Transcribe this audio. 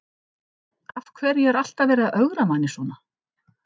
Af hverju er alltaf verið að ögra manni svona?